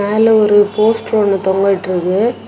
மேல ஒரு போஸ்டர் ஒன்னு தொங்கவிட்டுருக்கு.